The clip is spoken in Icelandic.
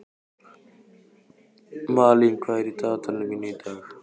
Malín, hvað er í dagatalinu mínu í dag?